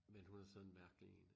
Men hun er sådan en mærkelig én